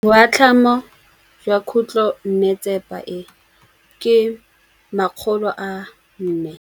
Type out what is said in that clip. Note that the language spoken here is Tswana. Boatlhamô jwa khutlonnetsepa e, ke 400.